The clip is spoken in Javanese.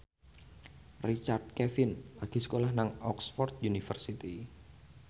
Richard Kevin lagi sekolah nang Oxford university